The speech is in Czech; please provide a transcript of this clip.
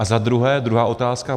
A za druhé, druhá otázka.